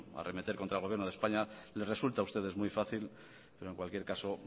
arremeter contra el gobierno de españa les resulta a ustedes muy fácil pero en cualquier caso